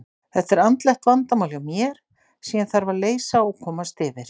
Þetta er andlegt vandamál hjá mér sem ég þarf að leysa og komast yfir.